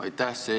Aitäh!